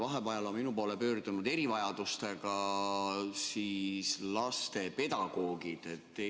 Vahepeal on minu poole pöördunud erivajadustega laste pedagoogid.